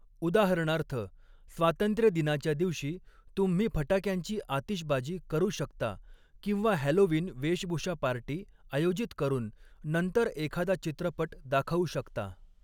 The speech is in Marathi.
उदाहरणार्थ, स्वातंत्र्यदिनाच्या दिवशी तुम्ही फटाक्यांची आतिषबाजी करू शकता किंवा हॅलोवीन वेशभूषा पार्टी आयोजित करून नंतर एखादा चित्रपट दाखवू शकता.